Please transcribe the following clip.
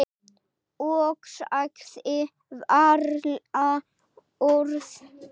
Og sagði varla orð.